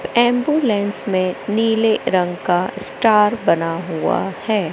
Ambulance में नीले रंग का स्टार बना हुआ है।